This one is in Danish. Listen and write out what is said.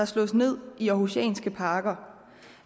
slået ned i århusianske parker